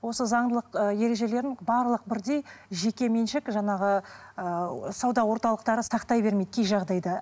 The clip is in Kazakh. осы заңдылық ы ережелерін барлық бірдей жеке меншік жаңағы ыыы сауда орталықтары сақтай бермейді кей жағдайда